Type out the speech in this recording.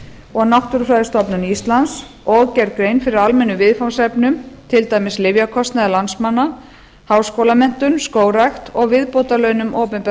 og náttúrufræðistofnun íslands og gerð grein fyrir almennum viðfangsefnum til dæmis lyfjakostnaði landsmanna háskólamenntun skógrækt og viðbótarlaunum opinberra